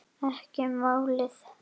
Ekki málið.